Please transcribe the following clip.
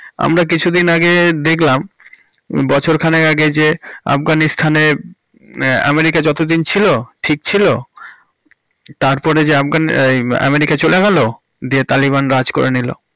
আমরা কিছু দিন আগে দেখলাম বছর খানেক আগে যে আফঘানিস্তানন এ আমেরিকা যতদিন ছিল ঠিক ছিল, তারপর যে আফগানিস, হম্ম আমেরিকা চলে গেলো দিয়ে তালিবান রাজ করে নিলো।